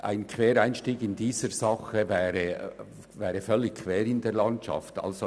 Ein Quereinstieg in dieser Sache würde völlig quer in der Landschaft liegen.